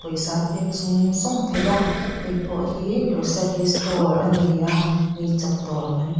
pawisa a pek zung zung theih a hei pawh hi grocery store a ni a eichawp dawr kan tih--